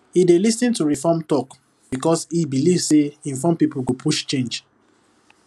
e dey lis ten to reform talk because e believe say informed people go push change